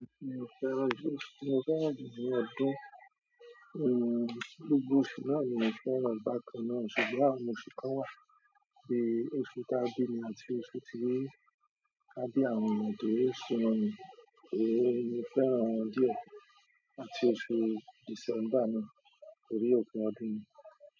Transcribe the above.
Mo fẹ́, mo fẹ́ràn jù ni ọdún ooo gbogbo oṣù náà ni mo fẹ́ran, bákan náà ṣùgbọ́n àwọn oṣù kan wà bíi oṣù tá bí mi àti oṣù tí ká bí àwọn ọmọ tó oṣù náà, èè ni mo fẹ́ran wọn díẹ̀ àti oṣù December náà torí òpin ọdún ni.